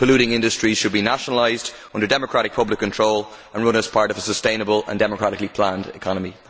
Polluting industries should be nationalised under democratic public control and run as part of a sustainable and democratically planned economy.